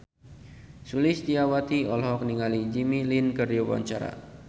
Sulistyowati olohok ningali Jimmy Lin keur diwawancara